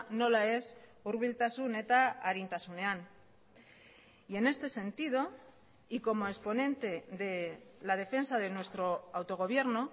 nola ez hurbiltasun eta arintasunean y en este sentido y como exponente de la defensa de nuestro autogobierno